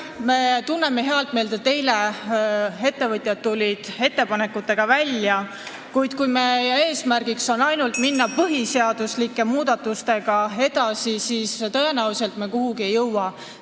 Me tunneme head meelt, et eile tulid ettevõtjad oma ettepanekutega välja, kuid kui meie eesmärk on ainult põhiseaduslike muudatustega edasi minna, siis me tõenäoliselt kuhugi ei jõua.